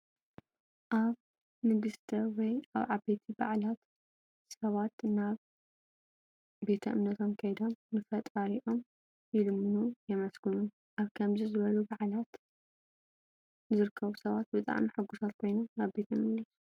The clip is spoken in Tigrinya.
ኣብ ንግሰት ወይ ኣብ ዓበይቲ በዓላት ሰባት ናብ ቤተ እምነቶም ከይዶም ንፈጣሪኦም ይልምኑን የመስግኑን። ኣብ ከምዚ ዝበሉ በዓላት ዝርከቡ ሰባት ብጣዕሚ ሕጉሳት ኾይኖም ናብ ቤቶም ይምለሱ።